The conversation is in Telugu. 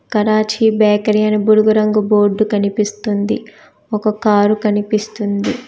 కరాచీ బేకరీ అని బుడుగు రంగు బోర్డు కనిపిస్తుంది ఒక కారు కనిపిస్తుంది.